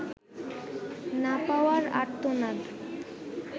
না পাওয়ার আর্তনাদ